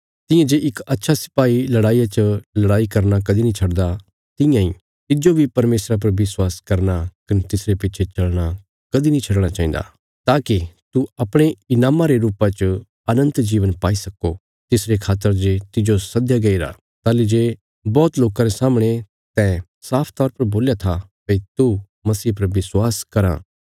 तियां जे इक अच्छा सिपाही लड़ाईया च लड़ाई करना कदीं नीं छडदा तियां इ तिज्जो बी परमेशरा पर विश्वास करना कने तिसरे पिछे चलना कदीं नीं छडणा चाहिन्दा ताकि तू अपणे ईनामा रे रुपा च अनन्त जीवन पाई सक्को तिसरे खातर जे तिज्जो सद्दया गईरा ताहली जे बौहत लोकां रे सामणे तैं साफ तौर पर बोल्या था भई तू मसीह पर विश्वास कराँ